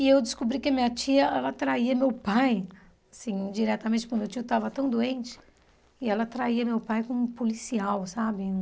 E eu descobri que a minha tia, ela traía meu pai, assim, diretamente, porque meu tio estava tão doente, e ela traía meu pai com um policial, sabe?